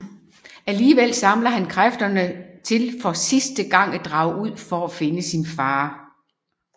Alligevel samler han kræfterne til for sidste gang at drage ud for at finde sin far